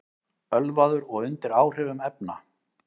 Ölvaður og undir áhrifum efna